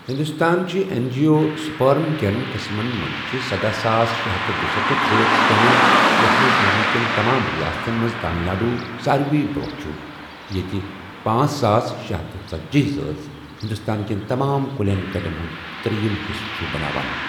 ہِنٛدوستٲن چھِ ایٚنٛجِیو سٕپرم کیٚن قٕسمن منٛز چھےٚ سدہَ ساس شے ہتھ تہٕ دُسَتتھ ذٲژٕ شٲمِل یَتھ منٛز مُلکہٕ کیٚن تمام رِیاستن منٛز تامِل ناڈوٗ ساروی برونہہ چُھ، ییٚتہِ پانژھ ساس شےہتھ تہٕ ژٔتجی ذٲژٕ ہِنٛدوستان کیٚن تمام کُلین کَٹٮ۪ن ہُنٛد ترٛیٚیِم حِصہٕ چُھ بناوان۔